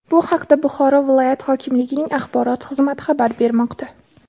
Bu haqda Buxoro viloyat hokimligining axborot xizmati xabar bermoqda .